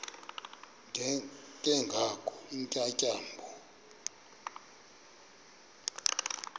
ke ngoko iintyatyambo